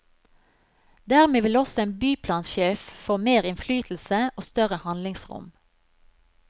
Dermed vil også en byplansjef få mer innflytelse og større handlingsrom.